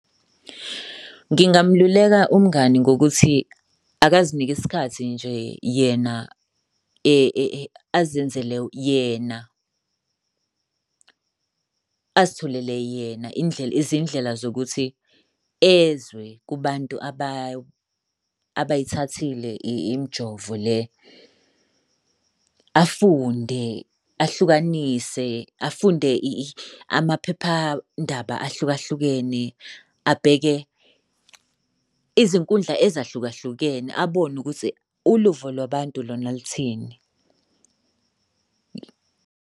Ngingamululeka umngani ngokuthi akazinike isikhathi nje yena. Azenzele yena, azitholele yena indlela, izindlela zokuthi ezwe kubantu abayithathile imijovo le. Afunde, ahlukanisa, afunde amaphephandaba ahlukahlukene, abheke izinkundla ezahlukahlukene abone ukuthi uluvo lwabantu lona luthini.